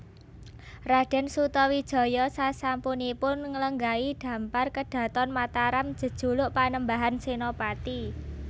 Raden Sutawijaya sasampunipun nglenggahi dhampar kedhaton Mataram jejuluk Panembahan Senopati